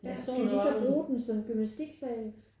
Skal de så bruge den som gymnastiksal?